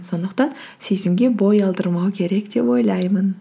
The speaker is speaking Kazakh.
сондықтан сезімге бой алдырмау керек деп ойлаймын